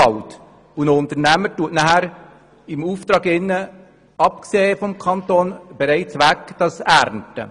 Ein Unternehmer kann nun im Auftrag unabhängig vom Kanton das Holz ernten.